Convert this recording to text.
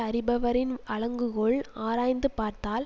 அறிபவரின் அளக்குங்கோல் ஆராய்ந்து பார்த்தால்